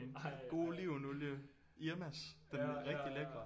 God olivenolie Irmas den rigtig lækre